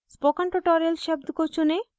spoken tutorial शब्द को चुनें